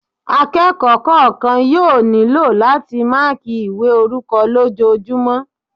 Akẹ́kọ̀ọ́ kọ̀ọ̀kan yóò nílò láti máàkí ìwé orúkọ lójojúmọ́